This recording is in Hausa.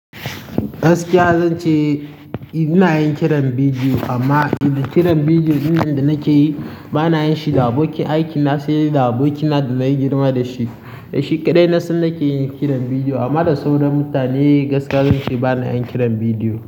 Gaskiya zan ce ina yin kiran bidiyo amma idan kiran bidiyo dukkanin da nake yi bana yin shi da abokin aikina sai dai da abokina da na yi girma da shi. Da shi kaɗai na san nake yin kiran bidiyo amma da sauran mutane gaskiya zan ce bana yin kiran bidiyo.